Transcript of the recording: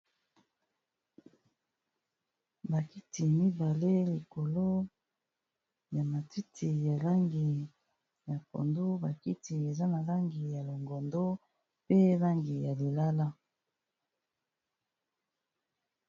Ba kiti mibale likolo ya matiti langi ya pondu ba kiti eza n'a langi ya longondo pe langi ya lilala